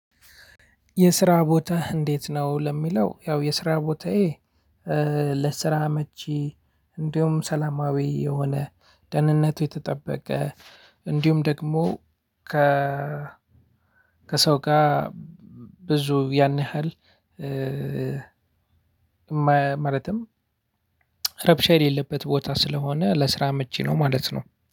የስራ ቦታህ እንዴት ነው? ለምለው ያው የስራ ቦታዬ ለስራ አመቺ እንዲሁም ሰላማዊ የሆነ ደህንነቱ የተጠበቀ እንድሁም ደግሞ። ከሰው ጋ ብዙ ያን ያህል። ማለትም ረብሻ የሌለበት ቦታ ስለሆነ ለስራ አመቺ ነው። ማለት ነው